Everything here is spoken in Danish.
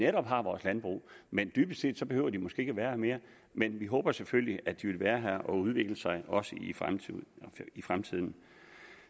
har vores landbrug men dybest set behøver de måske ikke at være her mere men vi håber selvfølgelig at de vil være her og udvikle sig også i fremtiden i fremtiden